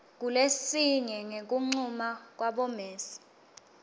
kulesinye ngekuncuma kwabomec